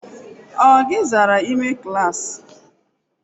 O o gi zara ime klaasị?